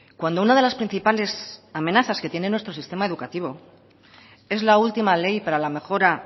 cuando una de las principales amenazas que tiene nuestro sistema educativo es la última ley para la mejora